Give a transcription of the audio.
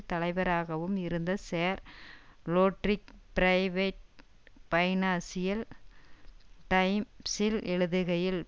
தலைவராகவும் இருந்த sir Roderick Braithwaite financial டைம்ஸில் எழுதுகையில்